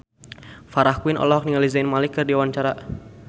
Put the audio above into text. Farah Quinn olohok ningali Zayn Malik keur diwawancara